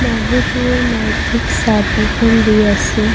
মনুহটোৱে মাইকীক ছাবিখন দি আছে।